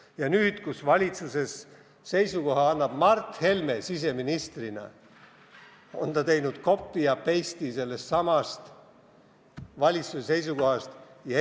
Ja nüüd, kui valitsuse seisukoha esitab siseministrina Mart Helme, on ta teinud sellestsamast varasemast valitsuse seisukohast copy ja paste'i.